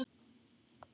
Staðan: Man.